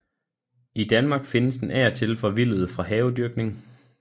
I Danmark findes den af og til forvildet fra havedyrkning